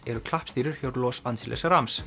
eru klappstýrur hjá Los Angeles